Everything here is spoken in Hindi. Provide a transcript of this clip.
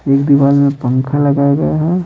एक दिवार में पंखा लगाया गया है।